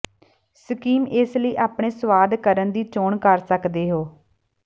scheme ਇਸ ਲਈ ਆਪਣੇ ਸੁਆਦ ਕਰਨ ਦੀ ਚੋਣ ਕਰ ਸਕਦੇ ਹੋ